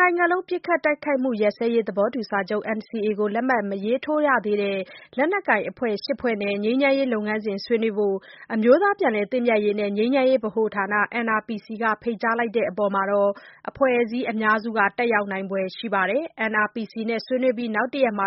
နိုင်ငံလုံး ပစ်ခတ်တိုက်ခိုက်မှုရပ်စဲရေး သဘောတူစာချုပ် NCA ကို လက်မှတ်မရေးထိုးသေးတဲ့ လက်နက်ကိုင်အဖွဲ့ ၈ဖွဲ့နဲ့ ငြိမ်းချမ်းရေးလုပ်ငန်းစဉ် ဆွေးနွေးဖို့ အမျိုးသားပြန်လည်သင့်မြတ်ရေးနဲ့ ငြိမ်းချမ်းရေးဗဟိုဌာန NRPC က ဖိတ်ကြားလိုက်တဲ့အပေါ် အဖွဲ့အစည်းအများစု တက်ရောက်နိုင်ဖွယ် ရှိပါတယ်။ NRPC နဲ့ ဆွေးနွေးပြီး နောက်တစ်ရက်မှာ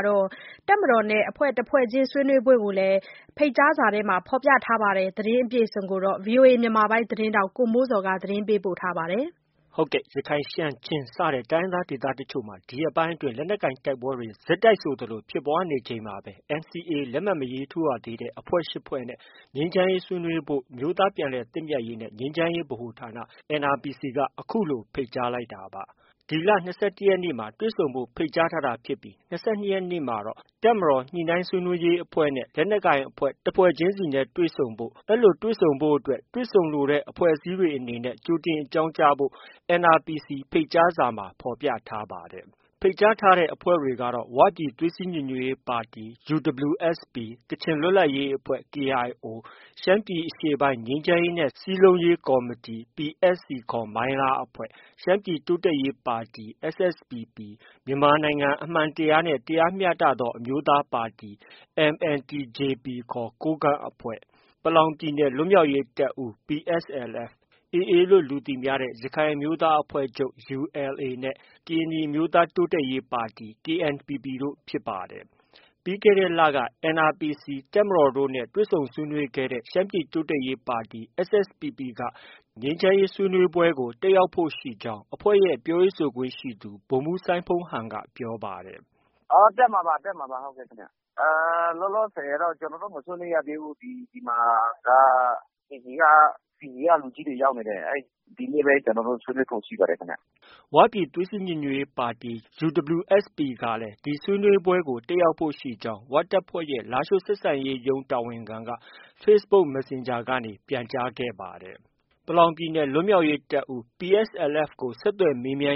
တပ်မတော်နဲ့ တစ်ဖွဲ့ချင်း ဆွေးနွေးဖို့ကိုလည်း ဖိတ်ကြားစာမှာ ဖော်ပြထားပါတယ်။ ဒီသတင်းကိုတော့ ဗီအိုအေ မြန်မာပိုင်းရဲ့ သတင်းထောက် ကိုမိုးဇော်က တင်ပြထားပါတယ်။ ဟုတ်ကဲ့။ ရခိုင်၊ ရှမ်း၊ ချင်း စတဲ့ တိုင်းရင်းသား ဒေသတချို့မှာ ဒီရက်ပိုင်း လက်နက်ကိုင်တိုက်ပွဲတွေ ဆက်တိုက်ဆိုသလို ဖြစ်ပွားနေချိန်မှာပဲ NCA လက်မှတ် မထိုးရသေးတဲ့ အဖွဲ့ ၈ ဖွဲ့နဲ့ ငြိမ်းချမ်းရေးဆွေးနွေးဖို့ အမျိုးသားပြန်လည်သင့်မြတ်ရေးနဲ့ ငြိမ်းချမ်းရေးဗဟိုဌာန NRPC က ခုလို ဖိတ်ကြားလိုက်တာပါ။ ၂၁ ရက်နေ့မှာတွေ့ဆုံဖို့ ဖိတ်ကြားတာဖြစ်ပြီး ၂၂ ရက်နေ့မှာတော့ တပ်မတော်ညှိနှိုင်း ဆွေးနွေးရေးအဖွဲ့နဲ့ လက်နက်ကိုင်အဖွဲ့ တဖွဲ့ချင်းစီ တွေ့ဆုံဖို့… အဲဒီလိုတွေ့ဆုံဖို့အတွက် တွေ့ဆုံလိုတဲ့ အဖွဲ့အစည်းတွေအနေနဲ့ ကြိုတင် အကြောင်းပြန်ကြားဖို့ NRPC ဖိတ်ကြားစာမှာ ဖော်ပြထားပါတယ်။ ဖိတ်ကြားထားတဲ့ အဖွဲ့တွေကတော့ ဝပြည်သွေးစည်း ညီညွတ်ရေးပါတီ UWSP ၊ ကချင်လွတ်လပ်ရေးအဖွဲ့ KIO ၊ ရှမ်းပြည်အရှေ့ပိုင်း ငြိမ်းချမ်းရေးနဲ့ စည်းလုံးရေးကော်မတီ PSC ခေါ် မိုင်းလားအဖွဲ့၊ ရှမ်းပြည်တိုးတက်ရေးပါတီ SSPP၊ မြန်မာနိုင်ငံ အမှန်တရားနှင့် တရားမျှတသော အမျိုးသားပါတီ MNTJP ခေါ် ကိုးကန့်အဖွဲ့၊ ပလောင်ပြည်နယ် လွတ်မြောက်ရေးတပ်ဦး PSLF၊ ရက္ခိုင် အမျိုးသားအဖွဲ့ချုပ် ULA / AA နဲ့ ကရင်နီ အမျိုးသားတိုးတက်ရေးပါတီ KNPP တို့ ဖြစ်ပါတယ်။ ပြီးခဲ့တဲ့လက NRPC ၊ တပ်မတော်တို့နဲ့ တွေ့ဆုံဆွေးနွေးခဲ့တဲ့ ရှမ်းပြည်တိုးတက်ရေးပါတီ SSPP က တက်ရောက်ဖို့ရှိကြောင်း အဖွဲ့ရဲ့ ပြောရေးဆိုခွင့်ရှိသူ ဗိုလ်မှုးစိုင်းဖုန်းဟန်က ပြောပါတယ်။ “ တက်မှာပါ။ တက်မှာပါခင်ဗျ။ လောလောဆည်တော့ ကျနော်တို့ မဆွေးနွေးရသေးဘူး။ ဒီမှာက PB က လူကြီးတွေ ရောက်နေတယ်။ ဒီနေ့ပဲ ကျနော်တို့ ဆွေးနွေးဖို့ ရှိပါတယ်ခင်ဗျ။” ဝပြည်သွေးစည်း ညီညွတ်ရေးပါတီ UWSP ကလည်း ဒီဆွေးနွေးပွဲကို တက်ရောက်ဖို့ ရှိကြောင်း ဝတပ်ဖွဲ့ရဲ့ လားရှိုး ဆက်ဆံရေးရုံး တာဝန်ခံက facebook messenger ကနေ ပြန်ကြားခဲ့ပါတယ်။ ပလောင်ပြည်နယ် လွတ်မြောက်ရေးတပ်ဦး PSLF ကို ဆက်သွယ်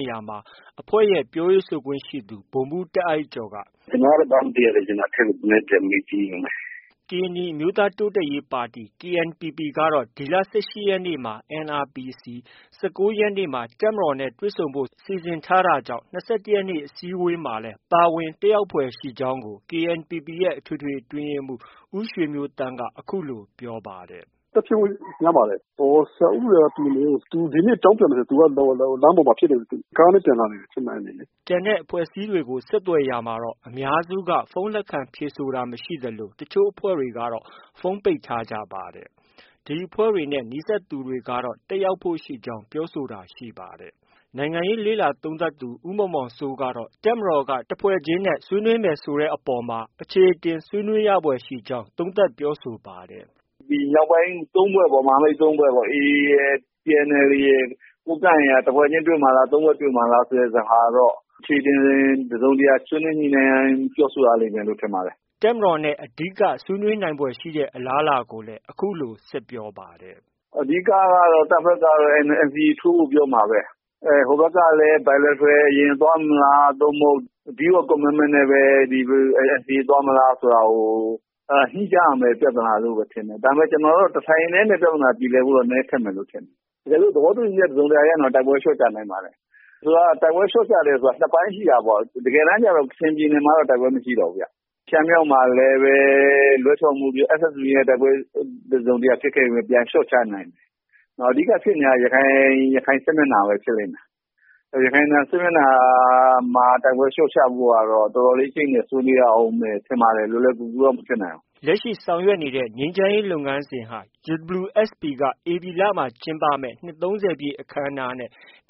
ရာမှာ အဖွဲ့ရဲ့ ပြောခွင့်ရသူ ဗိုလ်မှုးတာ့အိုက်ကျော်က - “ ကျနော်ကတော့ ဘာမှ မသိရသေးဘူး။ အထက်ကို ပြန်မေးကြည့်အုံးမယ်။” ကရင်နီ အမျိုးသားတိုးတက်ရေးပါတီ KNPPကတော့ ဒီလ ၁၈ရက်နေ့မှာ NRPC ၊ ၁၉ရက်နေ့မှာ တပ်မတော်နဲ့ တွေ့ဆုံဖို့ စီစဉ်ထားခဲ့တာဖြစ်ပါတယ်။၂၁ရက်အစည်းအဝေးမှာလည်း ပါဝင် တက်ရောက်ဖွယ်ရှိကြောင်းကို KNPP ရဲ့ အထွေထွေ အတွင်းရေးမှုး ဦးရွှေမျိုးသန့်က အခုလို ပြောပါတယ်။ “တက်ဖြစ်ဖို့ များပါတယ်။ ဆရာခူးဦးရယ်က ဒီနေ့ အကြောင်းပြန်မယ်ထင်တယ်။ သူဒီနေ့ လမ်းပေါ်မှာဖြစ်နေ လို့။ကားနဲ့ ပြန်လာနေတယ် ချင်းမိုင်ကနေ။” ကျန်တဲ့အဖွဲ့အစည်းတွေကို ဆက်သွယ်ရာမှာတော့ အများစုက ဖုန်း လက်ခံဖြေဆိုတာမရှိသလို တစ်ချို့အဖွဲ့တွေ ကတော့ ဖုန်းပိတ်ထားကြပါတယ်။ ဒီအဖွဲ့တွေနဲ့ နီးစပ်သူတွေကတော့ တက်ရောက်ဖို့ ရှိနေကြောင်း ပြောဆိုတာ ရှိပါတယ်။ နိုင်ငံရေး လေ့လာသုံးသပ်သူ ဦးမောင်မောင်စိုးကတော့ တပ်မတော်က တစ်ဖွဲ့ချင်းနဲ့ ဆွေးနွေးမယ်ဆိုတဲ့အပေါ်မှာ အချေအတင်ဆွေးနွေးရဖွယ်ရှိကြောင်း သုံးသပ်ပြောဆိုပါတယ်။ “ ဒီမြောက်ပိုင်း ၃ဖွဲ့ပေါ့။ မဟာမိတ် ၃ဖွဲ့ပေါ့။ ဒီ AA ရယ်၊ TNLA ရယ်၊ ကိုးကန့်ရယ်ကတော့ တစ်ဖွဲ့ချင်း တွေ့မှာလား။ ၃ဖွဲ့တွေ့မှာလား ဆိုတဲ့ဟာကတော့ အချေအတင် တစ်စုံတစ်ရာ ဆွေးနွေးညှိနှိုင်းရမယ်လို့ ထင်ပါတယ်။ ” တပ်မတော်နဲ့ ဆွေးနွေးနိုင်ဖွယ်ရှိတဲ့ အလားအလာကိုလည်း အခုလို ဆက်ပြောပါတယ်။ “ အဓိကကတော့ တပ်ဘက်ကတော့ NCA ထိုးဖို့ ပြောမှာပဲ။ ဟိုဘက်ကလည်း Bilateral သွားမလား။ ဒါမှ မဟုတ် Deed of commitment နဲ့ပဲ NCA သွားမလားဆိုတာကို ညှိကြရမယ့် ပြဿနာလို့ပဲ ထင်တယ်။ ကျနော်တော့ တစ်ထိုင်တည်းနဲ့ ပြဿနာပြေလည်ဖို့ဆိုတာတော့ ခက်မယ်ထင်တယ်။ တကယ်လို့ သဘောတူညီချက် တစ်စုံတစ်ရာရရင်တော့ တိုက်ပွဲလျော့ချနိုင်ပါတယ်။ ဆိုလိုတာက တိုက်ပွဲလျော့ချတယ်ဆိုတာ ၂ပိုင်းရှိတာပေါ့။ တကယ်တမ်းကျ ကချင်ပြည်နယ်မှာက တိုက်ပွဲမရှိတော့ဘူးဗျ။ ရှမ်းမြောက်မှာလည်းပဲ SSPP နဲ့ တိုက်ပွဲဖြစ်ခဲ့ပေမဲ့ လျော့ချနိုင်ခဲ့တယ်။ အဓိကဖြစ်နေတာက ရခိုင်စစ်မျက်နှာပဲ။ ရခိုင်စစ်မျက်နှာမှာ တိုက်ပွဲလျော့ချဖို့ကတော့ တော်တော်လေး အကျိတ်အနယ် ဆွေးနွေးရအုံးမယ်ထင်ပါတယ်။ လွယ်လွယ်ကူကူတော့ မဖြစ်နိုင်ဘူး။ ” ငြိမ်းချမ်းရေးလုပ်ငန်းစဉ်တွေဟာ UWSA က ဧပြီလမှာ ကျင်းပမယ့် နှစ် ၃၀ပြည့်အခမ်းအနားနဲ့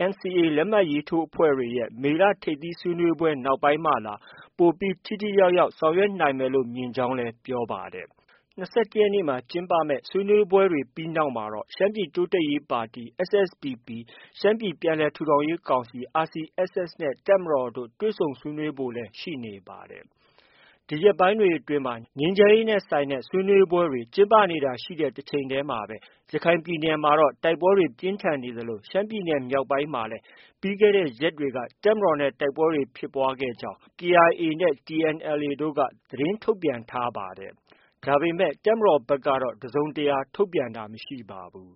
NCA လက်မှတ်ထိုးအဖွဲ့တွေရဲ့ မေလ ထိပ်သီးဆွေးနွေးပွဲတွေ နောက်ပိုင်းမှသာ ပိုပြီး ထိထိရောက်ရောက် ဆောင်ရွက်နိုင်မယ်လို့ မြင်ကြောင်းလည်း ပြောပါတယ်။ ဒီဆွေးနွေးပွဲတွေနောက်မှာတော့ ရှမ်းပြည်တိုးတက်ရေးပါတီ SSPP ၊ ရှမ်းပြည်ပြန်လည်ထူထောင်ရေးကောင်စီ RCSS နဲ့ တပ်မတော်တို့ တွေ့ဆုံဆွေးနွေးဖို့လည်း ရှိနေပါတယ်။ ဒီရက်ပိုင်းတွေအတွင်း ငြိမ်းချမ်းရေးနဲ့ဆိုင်တဲ့ ဆွေးနွေးပွဲတွေ ကျင်းပနေတာရှိတဲ့တချိန်တည်းမှာပဲ ရခိုင်ပြည်နယ်မှာတော့ တိုက်ပွဲတွေ ပြင်းထန်နေသလို ရှမ်းပြည်နယ်မြောက်ပိုင်းမှာ လည်း ပြီးခဲ့တဲ့ ရက်တွေက တပ်မတော်နဲ့ တိုက်ပွဲတွေဖြစ်ပွားကြောင်း KIA၊ TNLA တို့က သတင်းထုတ်ပြန်ထားတာရှိပါတယ်။ ဒါပေမဲ့ တပ်မတော်ဘက်ကတော့ တစ်စုံတစ်ရာ ထုတ်ပြန်တာမရှိပါဘူး